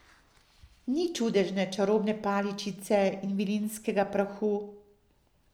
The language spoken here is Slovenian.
Ni čudežne čarobne paličice in vilinskega prahu.